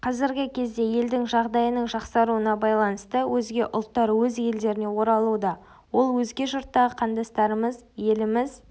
қазіргі кезде елдің жағдайының жақсаруына байланысты өзге ұлттар өз елдеріне оралуда ол өзге жұрттағы қандастарымыз еліміз